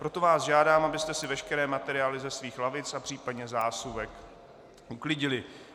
Proto vás žádám, abyste si veškeré materiály ze svých lavic a případně zásuvek uklidili.